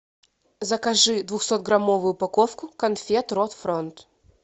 закажи двухсот граммовую упаковку конфет ротфронт